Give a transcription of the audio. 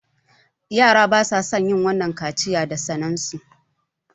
yara basason wannan yin kaciya da sanen su